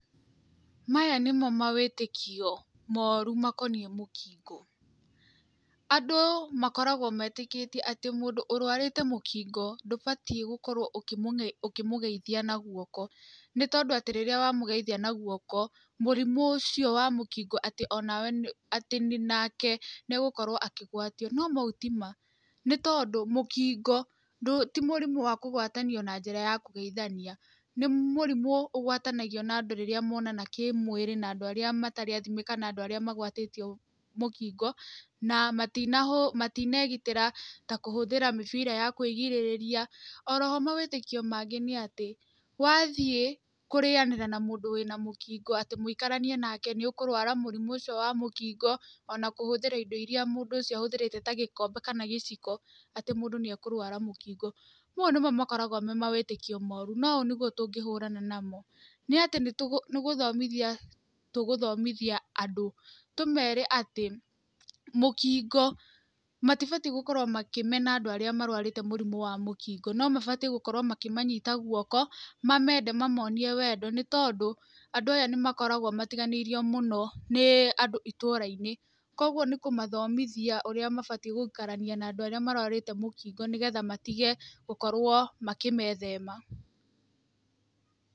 Maya nĩmo mawĩtĩkio moru makoniĩ Mũkingo. Andũ makoragwo metĩkĩtie atĩ mũndũ ũrũarĩte Mũkingo, ndũbatiĩ gũkorwo ũkĩmũgeithia na guoko. Nĩ tondũ atĩ rĩrĩa wamũgeithia na guoko, mũrimũ ũcio wa Mũkingo atĩ onawe atĩ nake nĩ egũkorwo akĩgwatio. No mau ti ma. Nĩ tondũ, Mũkingo, ti mũrimũ wa kũgwatanio na njĩra ya kũgeithania. Nĩ mũrimũ ũgwatanagio na andũ arĩa monana kĩmwĩrĩ na andũ arĩa matarĩ athime kana andũ arĩa magũatĩtio mũkingo, na matinegitĩra ta kũhũthĩra mĩbira ya kwĩgirĩrĩria. Oro ho mawĩtĩkio mangĩ nĩ atĩ, wathiĩ kũrĩanĩra na mũndũ wĩna Mũkingo, atĩ mũikaranie nake, nĩ ũkũrwara mũrimũ ũcio wa Mũkingo, ona kũhũthĩra indo irĩa mũndũ ahũthĩrĩte ta gĩkombe kana gĩciko, atĩ mũndũ nĩ ekũrwara mũkingo. Mau nĩmo makoragwo me mawĩtĩkio moru. Na ũũ nĩguo tũngĩhũrana namo. Nĩ atĩ nĩ gũthomithia tũgũthomithia andũ. Tũmere atĩ, Mũkingo, matibatiĩ gũkorwo makĩmena andũ arĩa marũarĩte mũrimũ wa Mũkingo. No mabatiĩ gũkorwo makĩmanyita guoko, mamende mamonie wendo. Nĩ tondũ, andũ aya nĩ makoragwo matiganĩirio mũno nĩ andũ itũũra-inĩ. Kũguo nĩ kũmathomithia ũrĩa mabatiĩ gũikarania na andũ arĩa marũarĩte Mũkingo nĩgetha matige gũkorwo makĩmethema.